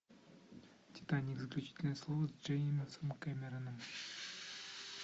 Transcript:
титаник заключительное слово с джеймсом кэмероном